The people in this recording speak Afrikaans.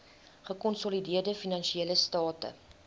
gekonsolideerde finansiële state